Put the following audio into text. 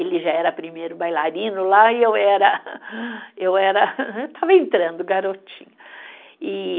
Ele já era primeiro bailarino lá e eu era, eu era, eu estava entrando, garotinha, e